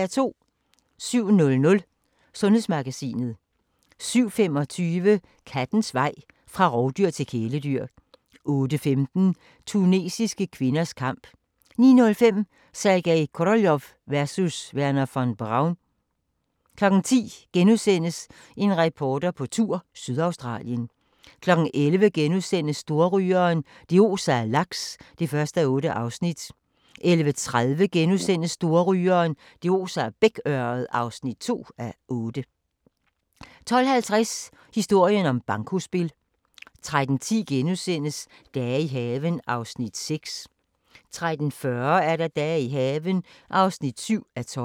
07:00: Sundhedsmagasinet 07:25: Kattens vej fra rovdyr til kæledyr 08:15: Tunesiske kvinders kamp 09:05: Sergej Koroljov versus Wernher von Braun 10:00: En reporter på tur – Sydaustralien * 11:00: Storrygeren – det oser af laks (1:8)* 11:30: Storrygeren – det oser af bækørred (2:8)* 12:50: Historien om bankospil 13:10: Dage i haven (6:12)* 13:40: Dage i haven (7:12)